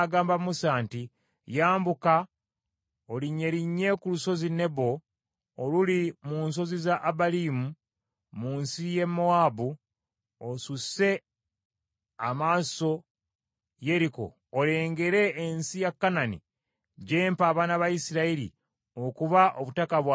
“Yambuka olinnyerinnye ku Lusozi Nebo oluli mu nsozi za Abalimu mu nsi ya Mowaabu, osusse amaaso Yeriko olengere ensi ya Kanani gy’empa abaana ba Isirayiri okuba obutaka bwabwe obw’enkalakkalira.